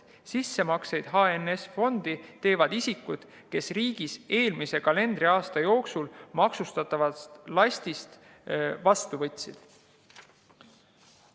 Sissemakseid HNS‑fondi teevad isikud, kes riigis eelmise kalendriaasta jooksul maksustatavat lasti vastu võtsid.